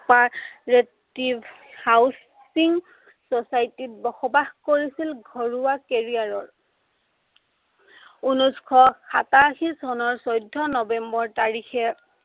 operative housing societies ত বসবাস কৰিছিল ঘৰুৱা carrier ৰ উনৈছশ সাতাশী চনৰ চৌধ্য় নৱেম্বৰ তাৰিখে